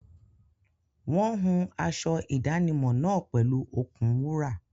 Wọ́n hun aṣọ ìdánimọ̀ náà pẹ̀lú okùn wúrà.